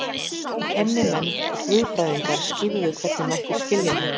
Kennimenn og guðfræðingar skýrðu hvernig mætti skilja þetta.